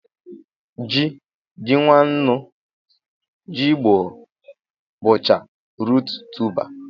Ji, ji nwannu, jigbọ, bụcha ruut tuba